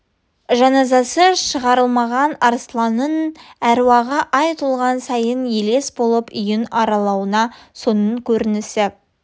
жаназасы шығарылмаған арсланның әруағы ай толған сайын елес болып үйін аралауы соның көрінісі